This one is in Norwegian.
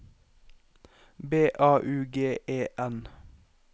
B A U G E N